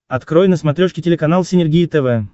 открой на смотрешке телеканал синергия тв